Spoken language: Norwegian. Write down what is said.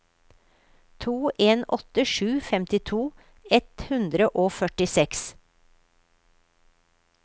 to en åtte sju femtito ett hundre og førtiseks